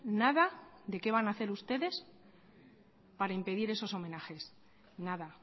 nada de qué van a hacer ustedes para impedir esos homenajes nada